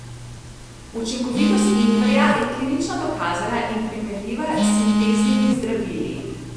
Učinkovitost ingverja je klinično dokazana in primerljiva s sinteznimi zdravili.